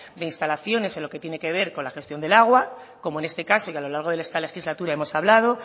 de instalaciones en lo que tiene que ver con la gestión del agua como en este caso y a lo largo de esta legislatura hemos hablado